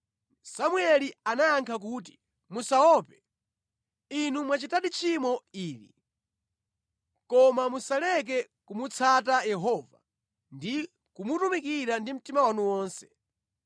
Samueli anayankha kuti, “Musaope, inu mwachitadi tchimo ili, koma musaleke kumutsata Yehova ndi kumutumikira ndi mtima wanu wonse.